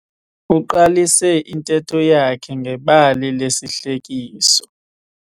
Uqalise intetho yakhe ngebali lesihlekiso.